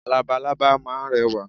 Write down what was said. Labalábá máa ń rẹwà